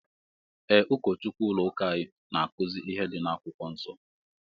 Ee ụkọchukwu ụlọ ụka anyị na akuzi ihe dị na akwụkwọ nsó.